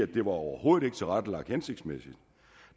det overhovedet ikke tilrettelagt hensigtsmæssigt